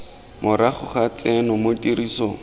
morago ga tseno mo tirisong